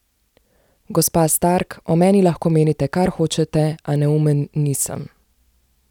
Gospa Stark, o meni lahko menite, kar hočete, a neumen nisem.